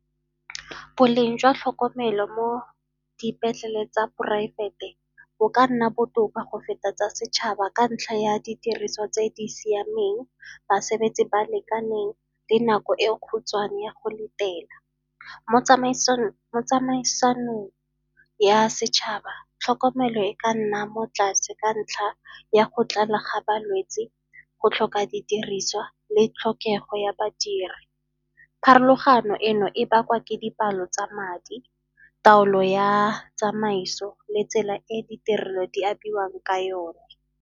Boleng jwa tlhokomelo mo dipetleleng tsa poraefete bo ka nna botoka go feta tsa setšhaba ka ntlha ya ditiriso tse di siameng, basebetsi ba lekaneng le nako e khutshwane ya go letela. mo tsamaisanong ya setšhaba tlhokomelo e ka nna mo tlase ka ntlha ya go tlala ga balwetsi, go tlhoka didiriswa le tlhokego ya badiri. Pharologano eno e bakwa ke dipalo tsa madi, taolo ya tsamaiso le tsela e ditirelo di abiwang ka yone.